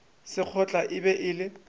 sekgotla e be e le